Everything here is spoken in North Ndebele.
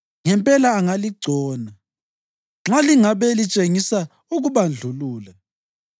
Ngempela angaligcona nxa lingabe litshengisa ukubandlulula.